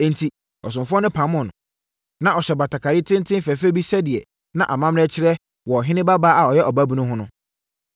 Enti, ɔsomfoɔ no pamoo no. Na ɔhyɛ batakari tenten fɛfɛ bi sɛdeɛ na amanneɛ kyerɛ wɔ ɔhene babaa a ɔyɛ ɔbaabunu ho no.